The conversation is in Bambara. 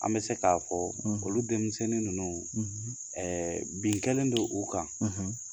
An bɛ se k'a fɔ olu denmisɛnnin ninnu bin kɛlen don u kan.